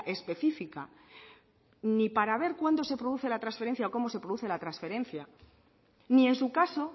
específica ni para ver cuándo se produce la transferencia o cómo se produce la transferencia ni en su caso